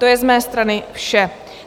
To je z mé strany vše.